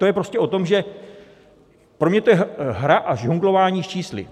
To je prostě o tom, že... pro mě to je hra a žonglování s čísly.